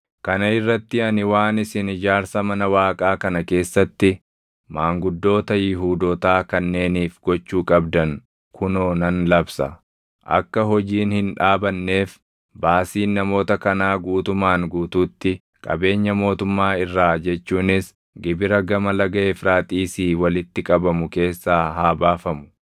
Kana irratti ani waan isin ijaarsa mana Waaqaa kana keessatti maanguddoota Yihuudootaa kanneeniif gochuu qabdan kunoo nan labsa: Akka hojiin hin dhaabanneef baasiin namoota kanaa guutumaan guutuutti qabeenya mootummaa irraa jechuunis gibira Gama Laga Efraaxiisii walitti qabamu keessaa haa baafamu.